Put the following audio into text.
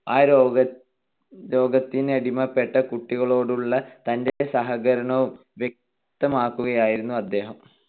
ആ രോഗത്തിനടിമപ്പെട്ട കുട്ടികളോടുള്ള തന്റെ സഹകരണം വ്യക്തമാക്കുകയായിരുന്നു അദ്ദേഹം.